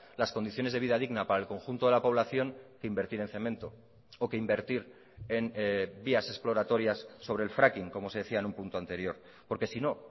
las condiciones de vida digna para el conjunto de la población que invertir en cemento o que invertir en vías exploratorias sobre el fracking como se decía en un punto anterior porque sino